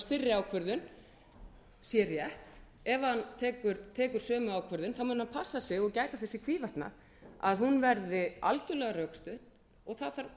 fyrri ákvörðun sé rétt ef hann tekur sömu ákvörðun þá mun hann passa sig og gæta þess í hvívetna að hún verði algjörlega rökstudd og það